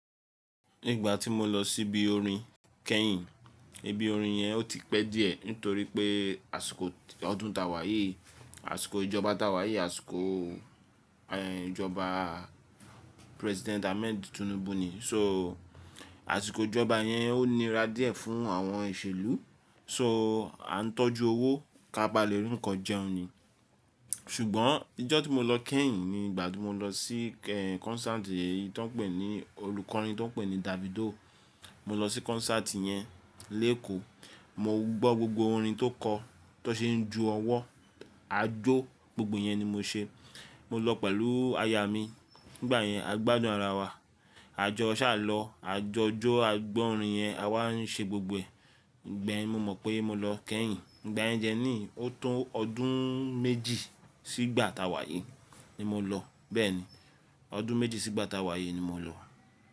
Ìgbà tí mo lọ síbi orin kẹ́yìn, ibi orin yẹn ó ti pẹ́ díẹ̀ nítorí pé àsìkò ọdún ta wáyé, àsìkò ìjọba ta wáyé, àsìkò, ẹ́, ìjọba President Ahmed Tinubu ni. So, àsìkò ìjọba yẹn ó nira díẹ̀ fún àwọn ìṣèlú, so a ń tọ́jú owó kí a bá lè rí nǹkan jẹun ni. Ṣùgbọ́n ijọ́ tí mo lọ kẹ́yìn ni ìgbà tí mo lọ sí, ẹ́, concert tí wọ́n ń pè ní, olùkọrin tí wọ́n ń pè ní Davido. Mo lọ sí concert yẹn lÉkòó, mo gbọ́ gbogbo orin tó kọ, tó ṣe ń ju ọwọ́, ajó gbogbo yẹn ni mo ṣe. Mo lọ pẹ̀lú aya mi, nígbà yẹn a gbádùn ara wa. A jọ ṣàlọ́, a jọ jó, a gbọ́ orin yẹn, àwa ń ṣe gbogbo ẹ̀. Ǹgbẹ ẹ́n mo mọ̀ pé mo lọ kẹ́yìn. Ǹgbà yẹ́ ń jẹ́ ní o tó ọdún méjì sígbà ta wáyé ni mo lọ. Bẹ́ẹ̀ ni, ọdún méjì sígbà ta wáyé ni mo lọ.